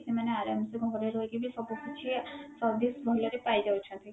ସେମାନେ ଆରାମ ସେ ଘରେ ରହିକି ବି ସବୁକିଛି service ଭଲରେ ପାଇଯାଉଛନ୍ତି